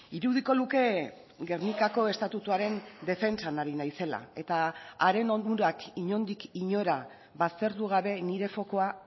irudiko luke gernikako estatutuaren defentsan ari naizela eta haren onurak inondik inora baztertu gabe nire fokua